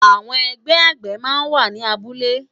Awòn ègbè àgbé má n wá ni àbúlé